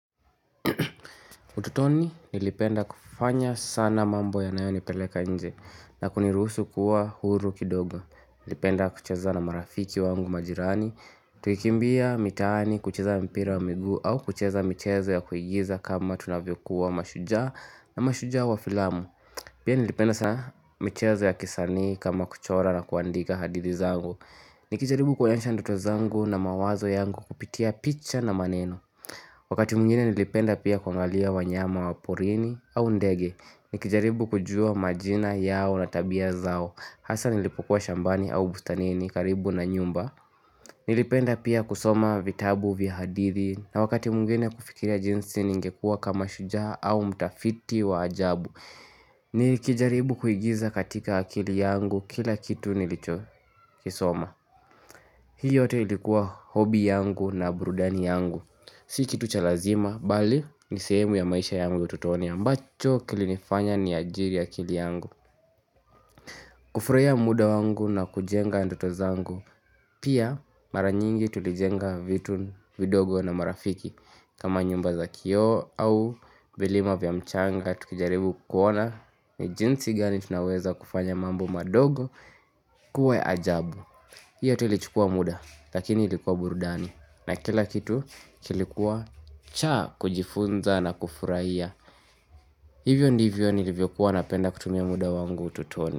Utotoni nilipenda kufanya sana mambo yanayo nipeleka nje na kunirusu kuwa huru kidogo. Nilipenda kucheza na marafiki wangu majirani. Tukikimbia mitaani, kucheza mpira wa miguu au kucheza michezo ya kuigiza kama tunavyo kuwa mashujaa na mashujaa wa filamu. Pia nilipenda sana michezo ya kisanii kama kuchora na kuandika hadithi zangu. Nikijaribu kuonyesha ndoto zangu na mawazo yangu kupitia picha na maneno. Wakati mwingine nilipenda pia kuangalia wanyama wa porini au ndege, nikijaribu kujua majina yao na tabia zao, hasa nilipokua shambani au bustanini karibu na nyumba. Nilipenda pia kusoma vitabu vya hadithi na wakati mwingine kufikiria jinsi ningekua kama shujaa au mtafiti wa ajabu. Nikijaribu kuigiza katika akili yangu kila kitu nilicho kisoma. Hii yote ilikuwa hobi yangu na burudani yangu Si kitu cha lazima, bali ni sehemu ya maisha yangu utotoni ambacho kilinifanya niajiri akili yangu kufurahia muda wangu na kujenga ndoto zangu Pia mara nyingi tulijenga vitu, vidogo na marafiki kama nyumba za kioo au milima vya mchanga Tukijaribu kuona ni jinsi gani tunaweza kufanya mambo madogo kuwa ya ajabu Hii yetu ilichukua muda lakini ilikuwa burudani na kila kitu kilikuwa cha kujifunza na kufurahia Hivyo ndivyo nilivyokuwa napenda kutumia muda wangu utotoni.